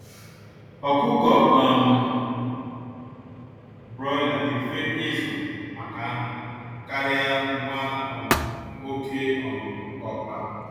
Ọkụkọ um Broiler dị mfe izu maka anụ karịa nwa um oké um ọkpa